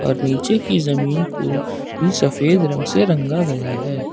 और नीचे की जमीन को भी सफेद रंग से रंगा गया है।